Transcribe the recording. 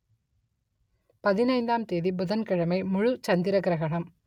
பதினைந்தாம் தேதி புதன்கிழமை முழு சந்திர கிரகணம்